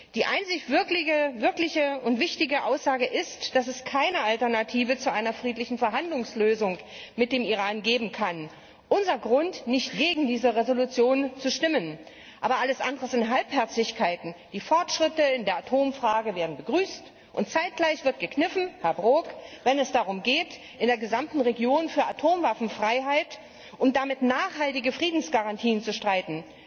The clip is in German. Die einzig wirkliche und wichtige Aussage ist, dass es keine Alternative zu einer friedlichen Verhandlungslösung mit dem Iran geben kann unser Grund, nicht gegen diesen Entschließungsantrag zu stimmen. Aber alles andere sind Halbherzigkeiten. Die Fortschritte in der Atomfrage werden begrüßt und zeitgleich wird gekniffen, Herr Brok, wenn es darum geht, in der gesamten Region für Atomwaffenfreiheit und damit nachhaltige Friedensgarantien zu streiten.